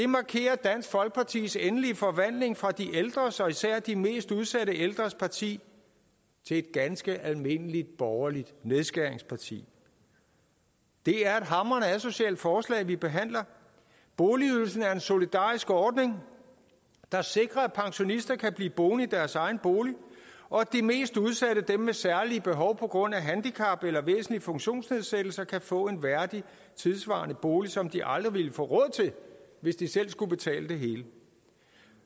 markerer dansk folkepartis endelige forvandling fra de ældres især de mest udsatte ældres parti til et ganske almindeligt borgerligt nedskæringsparti det er et hamrende asocialt forslag vi behandler boligydelsen er en solidarisk ordning der sikrer at pensionister kan blive boende i deres egen bolig og at de mest udsatte dem med særlige behov på grund af handicap eller væsentlig funktionsnedsættelse kan få en værdig tidssvarende bolig som de aldrig ville få råd til hvis de selv skulle betale det hele